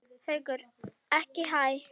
Haukur: Ekki hæ?